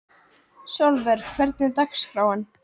Sólvör, hvernig er dagskráin?